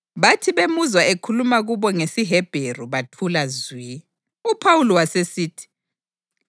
Bathi bemuzwa ekhuluma kubo ngesiHebheru bathula zwi. UPhawuli wasesithi,